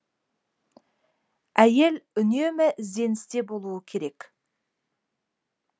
әйел үнемі ізденісте болуы керек